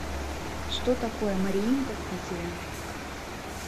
что такое мариинка в питере